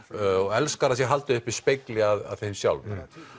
elskar að haldið sé uppi spegli af þeim sjálfum